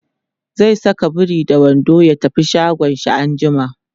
zai Saka biri da wando ya tafi shagon shi anjima